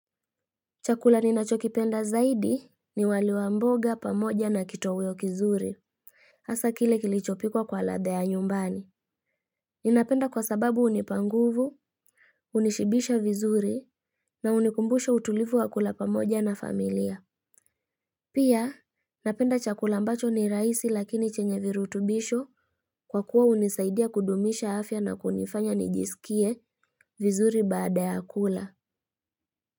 Chakula ninacho kipenda zaidi ni wali wa mboga pamoja na kitoweo kizuri. Hasa kile kilichopikwa kwa ladha ya nyumbani. Ninapenda kwa sababu hunipa nguvu, hunishibisha vizuri na hunikumbusha utulivu wa kula pamoja na familia. Pia napenda chakula mbacho ni rahisi lakini chenye virutubisho kwa kuwa hunisaidia kudumisha afya na kunifanya nijisikie vizuri baada ya kula.